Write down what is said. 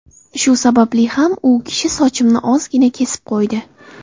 Shu sababli ham u kishi sochimni ozgina kesib qo‘ydi.